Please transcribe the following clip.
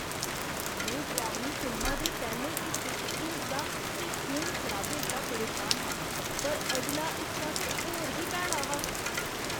में डरौनी फिल्मा दे पैह्ले हिस्से च हिंसा ते खून खराबे शा परेशान हा, पर अगला हिस्सा ते होर बी भैड़ा हा।